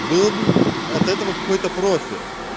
был бы от этого какой-то профиль